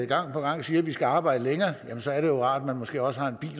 gang på gang siger at vi skal arbejde længere så er det jo rart at man måske også har en bil